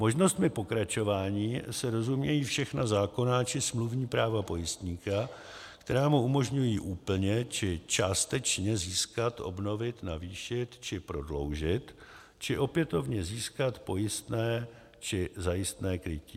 Možnostmi pokračování se rozumějí všechna zákonná či smluvní práva pojistníka, která mu umožňují úplně či částečně získat, obnovit, navýšit či prodloužit či opětovně získat pojistné či zajistné krytí.